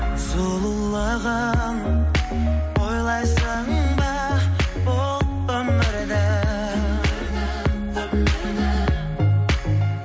сұлулығын ойлайсың ба бұл өмірдің